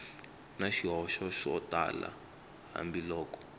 na swihoxo swo tala hambiloko